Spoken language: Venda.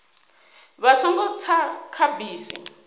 vha songo tsa kha bisi